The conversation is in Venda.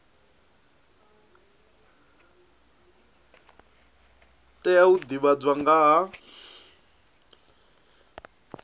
tea u divhadzwa nga ha